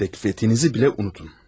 Təklifinizi belə unudun.